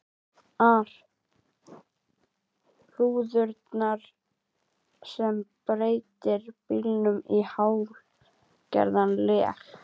ar rúðurnar sem breytir bílnum í hálfgert leg.